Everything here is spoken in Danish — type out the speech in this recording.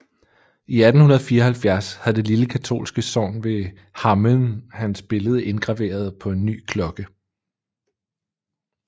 I 1874 havde det lille katolske sogn ved Hameln hans billede indgraveret på en ny klokke